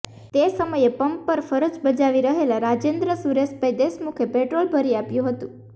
તે સમયે પંપ પર ફરજ બજાવી રહેલા રાજેન્દ્ર સુરેશભાઈ દેશમુખે પેટ્રોલ ભરી આપ્યું હતું